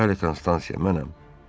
Bəli, Konstansiya, mənəm.